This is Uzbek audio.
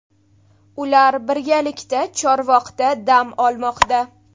Ular birgalikda Chorvoqda dam olmoqda.